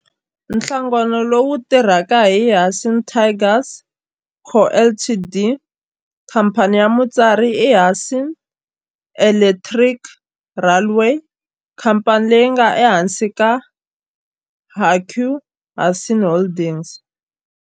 Nhlangano lowu tirhaka i Hanshin Tigers Co., Ltd. Khamphani ya mutswari i Hanshin Electric Railway, khamphani leyi nga ehansi ka Hankyu Hanshin Holdings.